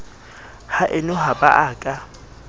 haeno ha ba a ka